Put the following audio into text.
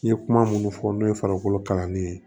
N ye kuma minnu fɔ n'o ye farikolo kalannen